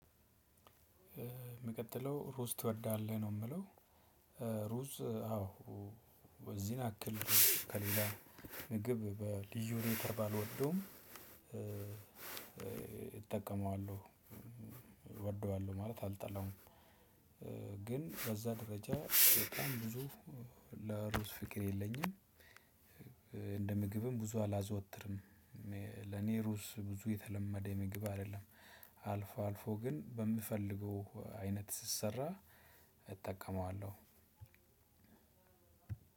የምቀጥለው ሩዝ ትወዳለህ? ነው የምለው ሩዝ አዎ። በዚህን ያክል ከሌላ ምግብ በልዩ ሁኔታ ባልወደውም እጠቀማለሁ ወደዋለሁ ማለት አልጠላውም። ግን በዛ ደረጃ በጣም ብዙ ለሩዝ ፍቅር የለኝም። እንደ ምግብም ብዙ አላዘወትርም። ለኔ ሩዝ ብዙ የተለመደ ምግብ አይደለም። አልፎ አልፎ ግን በምፈልገው አይነት ስሰራ እጠቀመዋለሁ።